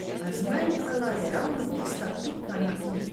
A zmanjkala je ravno tista pika na i.